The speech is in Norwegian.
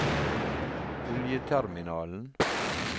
oljeterminalen